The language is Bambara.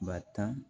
Ba tan